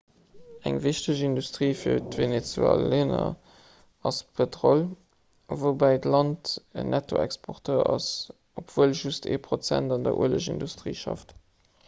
eng wichteg industrie fir d'venezuelaner ass pëtrol woubäi d'land en nettoexporteur ass obwuel just ee prozent an der uelegindustrie schafft